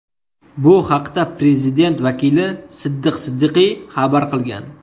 Bu haqda prezident vakili Siddiq Siddiqiy xabar qilgan .